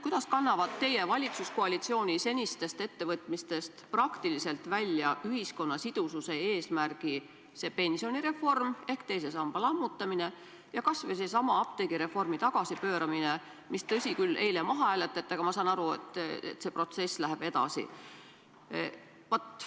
Kuidas kannavad teie valitsuskoalitsiooni senistest ettevõtmistest ühiskonna sidususe eesmärgi praktiliselt välja pensionireform ehk teise samba lammutamine ja kas või seesama apteegireformi tagasipööramine, mis, tõsi küll, eile maha hääletati, aga ma saan aru, et see protsess läheb edasi?